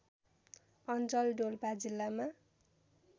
अञ्चल डोल्पा जिल्लामा